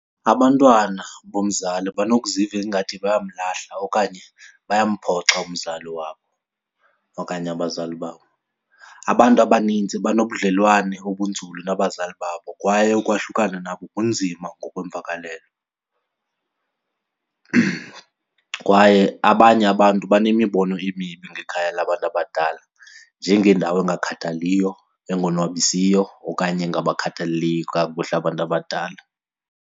Abantwana bomzali banokuziva ingathi bayamlahla okanye bayamphoxa umzali wabo okanye abazali babo. Abantu abaninzi banobudlwane obunzulu nabazali babo kwaye ukwahlukana nabo kunzima ngokweemvakalelo. Kwaye abanye abantu banemibono emibi ngekhaya labantu abadala njengendawo engakhathaliyo, engonwabisiyo okanye engabakhathaleli kakuhle abantu abadala.